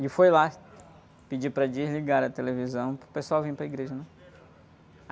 E foi lá pedir para desligar a televisão para o pessoal vir para a igreja, né?